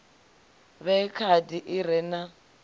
vhee khadi i re na